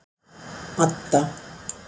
Adda